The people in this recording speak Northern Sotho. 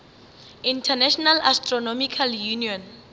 international astronomical union